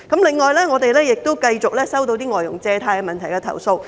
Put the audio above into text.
另外，我們也繼續收到一些有關外傭借貸問題的投訴。